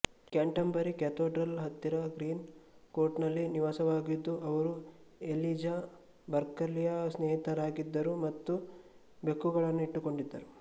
Canterbury Cathedral ಹತ್ತಿರ ಗ್ರೀನ್ ಕೋರ್ಟ್ನಲ್ಲಿ ನಿವಾಸಿಯಾಗಿದ್ದ ಅವರು ಎಲಿಜಾ ಬರ್ಕಲಿಯ ಸ್ನೇಹಿತರಾಗಿದ್ದರು ಮತ್ತು ಬೆಕ್ಕುಗಳನ್ನು ಇಟ್ಟುಕೊಂಡಿದ್ದರು